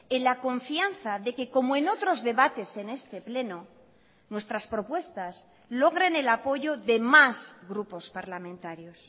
en la confianza de que como en otros debates en este pleno nuestras propuestas logren el apoyo de más grupos parlamentarios